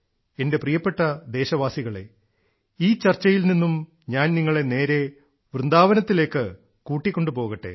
എന്റെ പ്രിയപ്പെട്ട ദേശവാസികളേ ഈ ചർച്ചയിൽ നിന്നും ഞാൻ നിങ്ങളെ നേരെ വൃന്ദാവനത്തിലേക്ക് കൂട്ടിക്കൊണ്ടു പോകട്ടെ